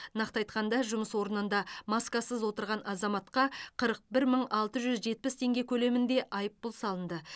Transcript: нақты айтқанда жұмыс орнында маскасыз отырған азаматқа қырық бір мың алты жүз жетпіс теңге көлемінде айыппұл салынды